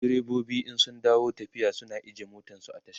direbobi in sun dawo tafiya suna ajiye motansu a tasha